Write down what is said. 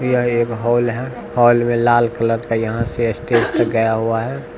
यह एक हॉल है हॉल में लाल कलर का यहां से स्टेज तक गया हुआ है।